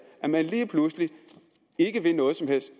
at man lige pludselig ikke vil noget som helst